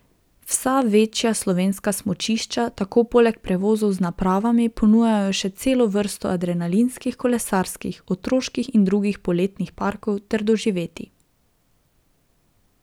Vsa večja slovenska smučišča tako poleg prevozov z napravami ponujajo še celo vrsto adrenalinskih, kolesarskih, otroških in drugih poletnih parkov ter doživetij.